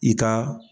I ka